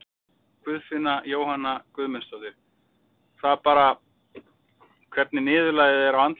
Guðfinna Jóhanna Guðmundsdóttir: Það bara, hvernig niðurlagið er á álitinu?